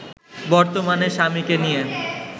বর্তমানে স্বামীকে নিয়ে